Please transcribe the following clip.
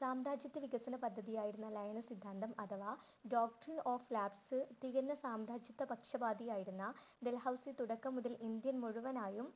സാമ്രാജ്യത്തെ വികസന പദ്ധതിയായിരുന്ന ലയന സിദ്ധാന്തം അഥവാ Doctrine of lapse തികഞ്ഞ സാമ്രാജ്യത്ത പക്ഷപാതിയായിരുന്ന ഡല്‍ഹൌസി തുടക്കം മുതൽ ഇന്ത്യ മുഴുവനായും